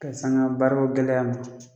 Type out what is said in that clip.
Ka sanga baara ko gɛlɛya ma.